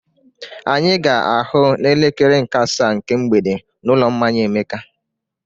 Anyị ga-ahụ n'elekere nke asaa nke mgbede n'ụlọ mmanya Emeka.